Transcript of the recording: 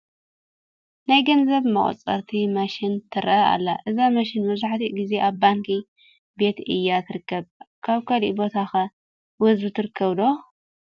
ናይ ገንዘብ መቑፀሪት መሽን ትርአ ኣላ፡፡ እዛ መሽን መብዛሕትኡ ግዜ ኣብ ባንኪ ቤት እያ ትርከብ፡፡ ኣብ ካልእ ቦታ ኸ ወዝቢ ትርከብ ዶ?